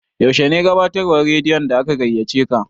Yaushe ne gabatarwan radiyon da aka gaiyaceka?